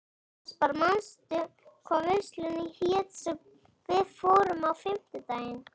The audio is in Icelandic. Aspar, manstu hvað verslunin hét sem við fórum í á fimmtudaginn?